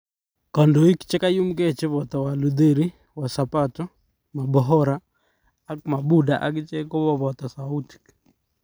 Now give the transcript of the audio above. Kodoik chekayumke chebo Walutheri, Wasabato, Mabohora ak Mabuda akichek kokoboto soutik .